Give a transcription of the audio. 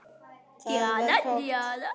Það var fátt.